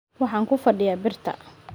Waxaan ku fadhiyaa birta.